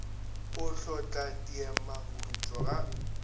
o hlotla diema borutho ga